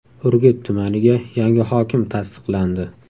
Urgut tumaniga yangi hokim tasdiqlandi.